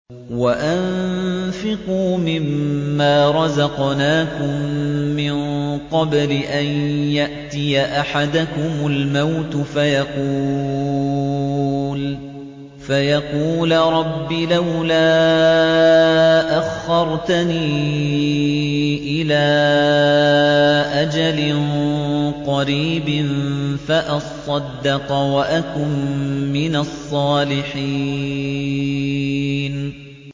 وَأَنفِقُوا مِن مَّا رَزَقْنَاكُم مِّن قَبْلِ أَن يَأْتِيَ أَحَدَكُمُ الْمَوْتُ فَيَقُولَ رَبِّ لَوْلَا أَخَّرْتَنِي إِلَىٰ أَجَلٍ قَرِيبٍ فَأَصَّدَّقَ وَأَكُن مِّنَ الصَّالِحِينَ